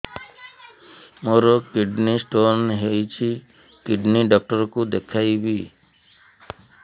ମୋର kidney stone ହେଇଛି kidney doctor କୁ ଦେଖାଇବି